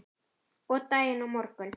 Og daginn á morgun.